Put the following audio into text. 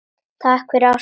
Takk fyrir ástina.